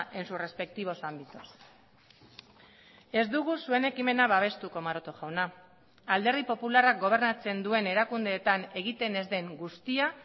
en sus respectivos ámbitos ez dugu zuen ekimena babestuko maroto jauna alderdi popularrak gobernatzen duen erakundeetan egiten ez den guztia